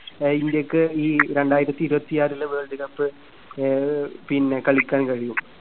അഹ് ഇന്ത്യക്ക് ഈ രണ്ടായിരത്തിയിരുപത്തിയാറിലെ വേൾഡ് കപ്പ് ആഹ് പിന്നെ കളിക്കാൻ കഴിയും.